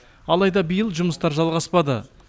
алайда биыл жұмыстар жалғаспады